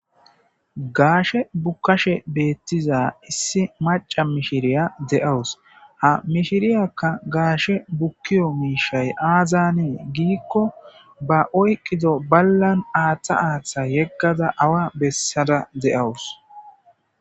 Gaashe bukkashe beettiza issi maca mishiriya de'awus ha mishiriyakka gaashe bukkiyo miishay aazanee giikko ba oyqqido ballan aaththa aaththa yeggada awa bessada de'awus.